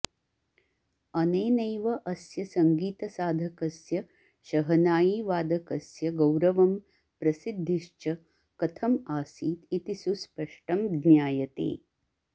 अनेनैव अस्य सङ्गीतसाधकस्य शहनायीवादकस्य गौरवं प्रसिद्धिश्च कथम् आसीत् इति सुस्पष्टं ज्ञायते